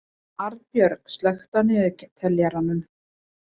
Arnbjörg, slökktu á niðurteljaranum.